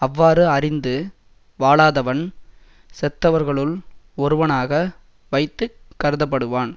அவ்வாறு அறிந்து வாழாதவன் செத்தவர்களுள் ஒருவனாக வைத்து கருதப்படுவான்